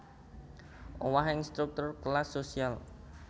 Owahing struktur kelas sosial